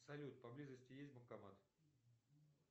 салют поблизости есть банкомат